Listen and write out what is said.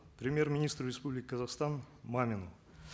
премьер министру республики казахстан мамину